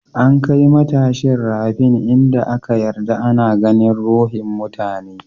An kai matashin rafin in da aka yarda ana ganin ruhin mutane.